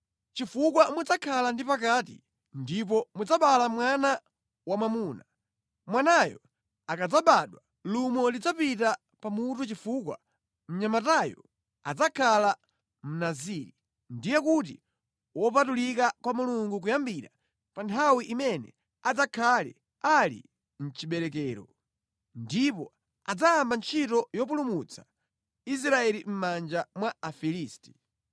chifukwa mudzakhala ndi pakati ndipo mudzabereka mwana wamwamuna. Mwanayo akadzabadwa lumo lisadzapite pa mutu chifukwa mnyamatayo adzakhala Mnaziri, ndiye kuti wopatulika kwa Mulungu kuyambira pa nthawi imene adzakhale ali mʼchiberekero. Ndipo adzayamba ntchito yopulumutsa Israeli mʼmanja mwa Afilisti.”